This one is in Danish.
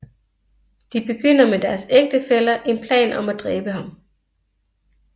De begynder med deres ægtefæller en plan om at dræbe ham